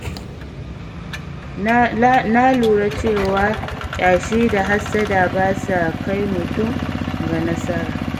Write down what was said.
Na lura cewa ƙyashi da hassada ba sa kai mutum ga nasara.